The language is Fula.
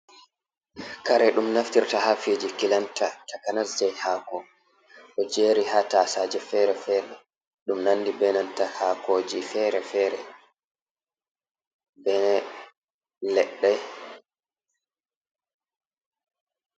Kare ɗum naftirta ha fiji kilanta takanas je hako, ɗo jeri ha tasaje fere fere ɗum nandi benanta hakoji fere-fere be leɗɗe.